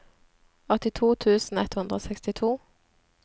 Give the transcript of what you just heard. åttito tusen ett hundre og sekstito